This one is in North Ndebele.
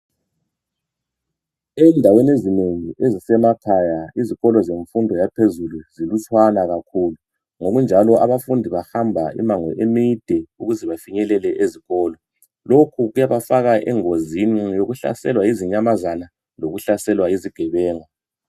Endaweni ezinengi ezisemakhaya izikolo zemfundo yaphezulu zilutshana kakhulu. Ngokunjalo abafundi bahamba imango emide ukuze bafinyelele ezikolo. Lokhu kubafaka engozini yokuhlaselwa yizinyamazana lokuhlaselwa yizigebengu.